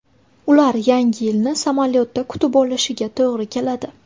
Ular Yangi yilni samolyotda kutib olishiga to‘g‘ri keladi.